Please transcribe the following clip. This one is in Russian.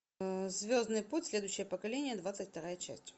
звездный путь следующее поколение двадцать вторая часть